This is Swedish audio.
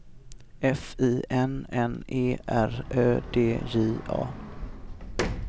F I N N E R Ö D J A